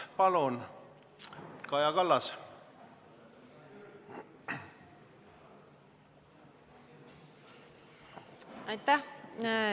Palun, Kaja Kallas!